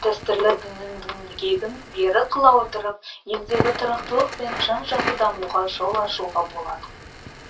дәстүрлі діннің діңгегін берік қыла отырып елдегі тұрақтылық пен жан жақты дамуға жол ашуға болады